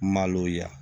Maloya